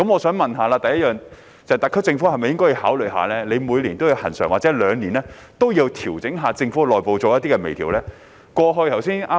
請問特區政府會否考慮每年或每兩年作恆常調整，對政府內部的運作進行微調呢？